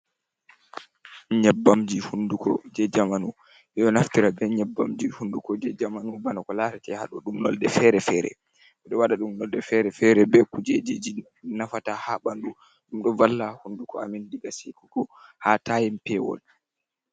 Nyebbamji hunduko jee jamanu, yiɗo naftira be nyabbamji hunduko je jamanu bana ko lareete haɗo ɗum nolde fere-fere. Ɓeɗo waaɗaɗum nolde fere-fere be kuujejiji nafata ha ɓandu. Ɗum ɗo valla huunduko amin digaa seekugo ha tayim peewol.